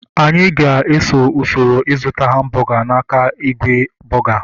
Anyị ga-eso usoro ịzụta hambọga n'aka igwe bọga